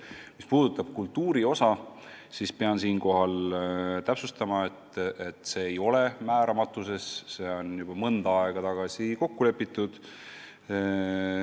Mis puudutab kultuuri osa, siis pean täpsustama, et see ei ole määramata, see on juba mõnda aega tagasi kokku lepitud.